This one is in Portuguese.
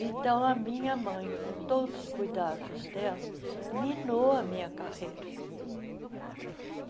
Então, a minha mãe, com todos os cuidados dela, minou a minha carreira.